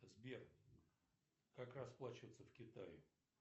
сбер как расплачиваться в китае